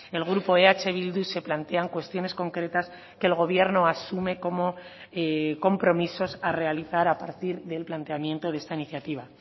el grupo eh bildu se plantean cuestiones concretas que el gobierno asume como compromisos a realizar a partir del planteamiento de esta iniciativa